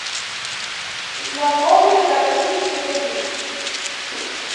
знакомые картинки вруби